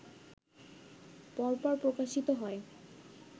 পরপর প্রকাশিত হয়